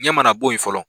Ɲɛ mana bo yen fɔlɔ